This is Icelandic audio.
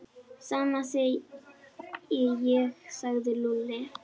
Sama segi ég sagði Lúlli.